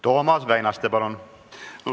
Toomas Väinaste, palun!